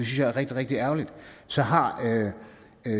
jeg er rigtig rigtig ærgerlig så har